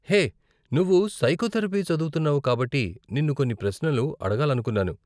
హే, నువ్వు సైకోథెరపీ చదువుతున్నావు కాబట్టి నిన్ను కొన్ని ప్రశ్నలు అడగాలనుకున్నాను.